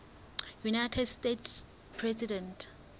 united states president